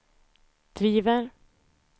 driver